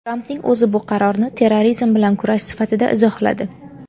Trampning o‘zi bu qarorni terrorizm bilan kurash sifatida izohladi.